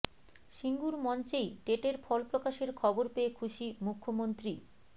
সিঙ্গুর মঞ্চেই টেটের ফল প্রকাশের খবর পেয়ে খুশি মুখ্যমন্ত্রী